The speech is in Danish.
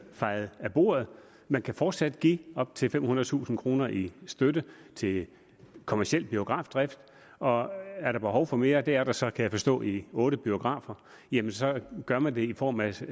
fejet af bordet man kan fortsat give op til femhundredetusind kroner i støtte til kommerciel biografdrift og er der behov for mere og det er der så kan jeg forstå i otte biografer jamen så gør man det i form af